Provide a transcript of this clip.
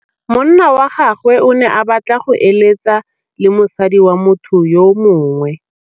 Monna wa gagwe o ne a batla go êlêtsa le mosadi wa motho yo mongwe.